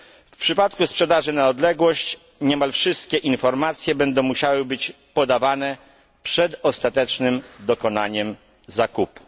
W przypadku sprzedaży na odległość niemal wszystkie informacje będą musiały być podawane przed ostatecznym dokonaniem zakupu.